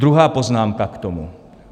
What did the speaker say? Druhá poznámka k tomu.